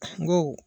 N go